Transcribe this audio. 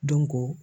Dɔnko